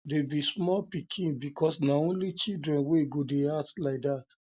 dey be small pikin because na only children wey go dey act like dat